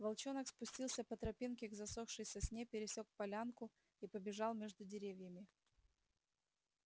волчонок спустился по тропинке к засохшей сосне пересёк полянку и побежал между деревьями